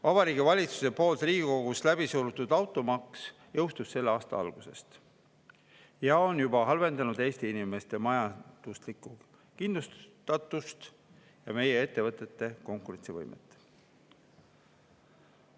Vabariigi Valitsuse poolt Riigikogus läbi surutud automaks jõustus selle aasta alguses ja on juba halvendanud Eesti inimeste majanduslikku kindlustatust ja ettevõtete konkurentsivõimet.